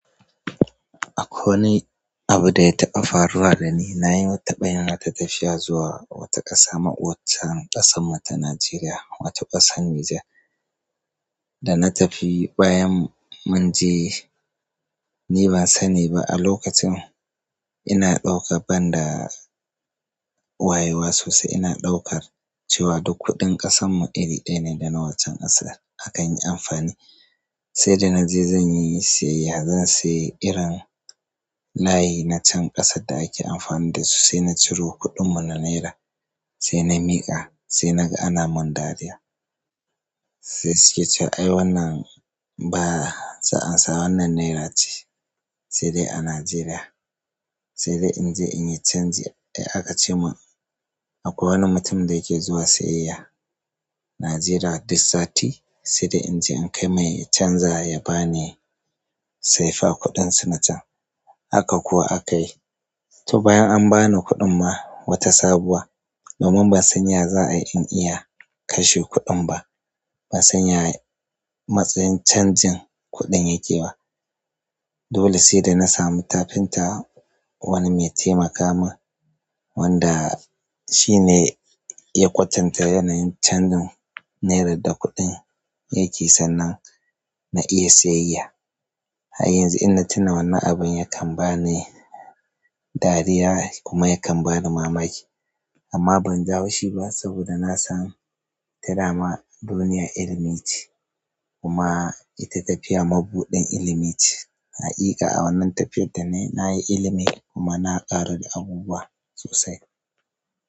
Akwai wani abu da ya taɓa faruwa da ni. Na yi wata tabayin wata tafiya zuwa wata ƙasa ma'ocan ƙasan mu ta Najeriya, wata ƙasan Niger. Da na tafi, bayan mun je, ni ba sani ba a lokacin ina ɗauka, ban da wayewa sosai ina ɗaukar cewa duk kuɗin ƙasan mu iri ɗaya ne da na waccan ƙasar aka yi amfani. Sai da na je zan yi siyayya, zan sayi irin layi na can ƙasar da ake amfani da su sai na ciro kuɗin mu na naira, sai na miƙa, sai na ga ana mun dariya. Sai su ke cewa "ai wannan ba, za'a ansa wannan naira ce" sai dai a Najeriya. Sai dai in je in yi canji. Sai aka ce mun akwai wani mutum da yake zuwa siyayya Najeriya duk sati. Sai dai in je in kai mai ya canza ya ba ni saifa kuɗin su na can. Haka kuwa aka yi. To bayan an ba ni kuɗin ma, wata sabuwa. Domin ban san ya za'a in iya kashe kuɗin ba. Ban san ya matsin canjin kuɗin yake ba. Dole sai da na sami tafinta wani mai taimaka mun wanda shi ne ya kwatanta yanayin canjin naira da kuɗin yake sannan na iya siyayya. Har yanzu in na tuna wannan abun, yakan ba ni dariya kuma yakan bani mamaki. Amma ban ji haushi ba saboda na san ita dama duniya ilimi ce kuma ita tafiya mabuɗin ilimi ce. Hakika a wannan tafiyar da na yi, na yi ilimi kuma na ƙaru da abubuwa sosai.